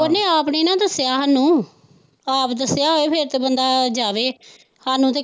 ਉਨੇ ਆਪ ਨੀ ਨਾ ਦੱਸਿਆ ਹਾਨੂੰ, ਆਪ ਦੱਸਿਆ ਹੋਵੇ ਫਿਰ ਤੇ ਬੰਦਾ ਜਾਵੇ, ਸਾਨੂੰ ਤੇ।